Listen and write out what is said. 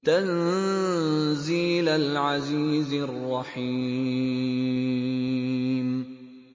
تَنزِيلَ الْعَزِيزِ الرَّحِيمِ